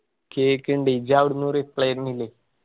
കേൾക്കിണ്ട് ഇയ്യ്‌ അവ്ട്ന്ന് reply തെർന്നില്ലേന്നു.